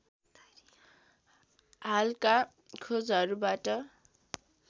हालका खोजहरूबाट